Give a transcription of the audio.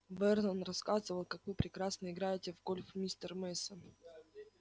вернон рассказывал как вы прекрасно играете в гольф мистер мейсон